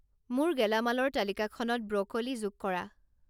মোৰ গেলামালৰ তালিকাখনত ব্ৰ'ক'লী যোগ কৰা